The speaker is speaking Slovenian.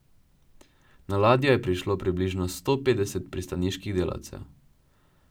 Na ladjo je prišlo približno sto petdeset pristaniških delavcev.